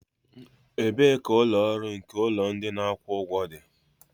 Ebee ka ụlọ ọrụ nke ụlọ ndị na akwụ ụgwọ dị?